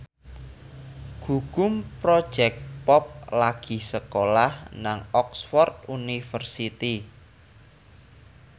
Gugum Project Pop lagi sekolah nang Oxford university